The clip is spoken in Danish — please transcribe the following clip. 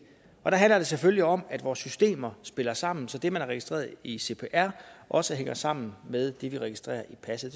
og der handler det selvfølgelig om at vores systemer spiller sammen så det man har registreret i cpr også hænger sammen med det vi registrerer i passet